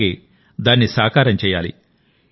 అలాగే దాన్ని సాకారం చేయాలి